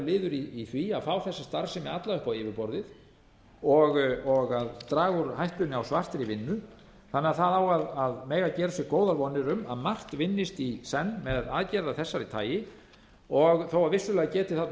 liður í því að fá þessa starfsemi alla upp á yfirborðið og að draga úr hættunni á svartri vinnu þannig á það á að mega gera sér góðar vonir um að margt vinnist í senn með aðgerð af þessu tagi þó vissulega geti þarna